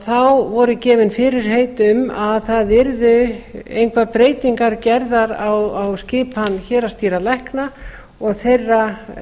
þá voru gefin fyrirheit um að það yrðu engar breytingar gerðar á skipan héraðsdýralækna og þeirra